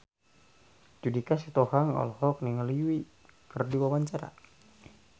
Judika Sitohang olohok ningali Yui keur diwawancara